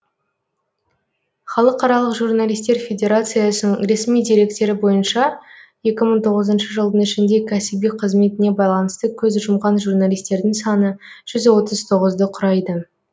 халықаралық журналистер федерациясың ресми деректері бойынша екі мың тоғызыншы жылдың ішінде кәсіби қызметіне байланысты көз жұмған журналистердің саны жүз оты тоғызды құрайды